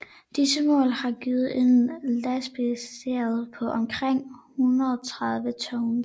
Disse mål har givet en lastekapacitet på omkring 130 tons